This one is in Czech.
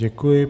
Děkuji.